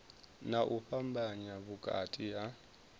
na u fhambanya vhukati ha